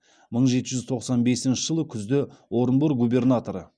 мың жеті жүз тоқсан бесінші жылы күзде орынбор губернаторы